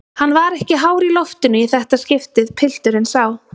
Hann var ekki hár í loftinu í það skiptið, pilturinn sá.